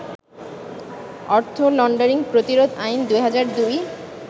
অর্থ লন্ডারিং প্রতিরোধ আইন, ২০০২